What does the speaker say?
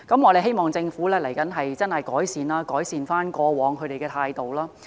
我希望政府未來會認真改善過往的態度。